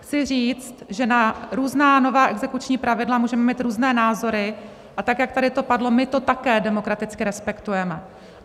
Chci říct, že na různá nová exekuční pravidla můžeme mít různé názory a tak, jak to tady padlo, my to také demokraticky respektujeme.